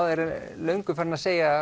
er löngu farinn að segja